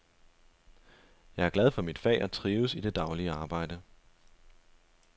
Jeg er glad for mit fag og trives i det daglige arbejde.